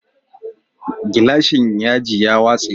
Gilashin ya ji ya watse